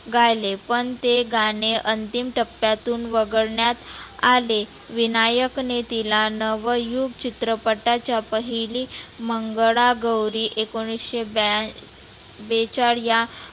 गायले पण ते गाणे अंतीम टप्प्यातुन वगळण्यात आले. विनायकने तीला नवयुग चित्रपटाच्या पहिली मंगळा गौरी एकोणीसशे बॅ बेचाळ या